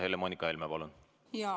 Helle‑Moonika Helme, palun!